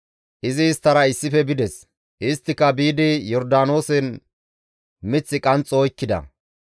Izi isttara issife bides; isttika biidi Yordaanoosen mith qanxxo oykkida.